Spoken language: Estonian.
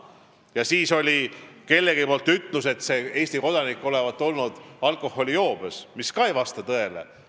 Ja siis ütles veel keegi, et see Eesti kodanik olevat olnud alkoholijoobes, mis ei vasta tõele.